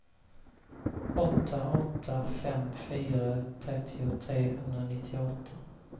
åtta åtta fem fyra trettio trehundranittioåtta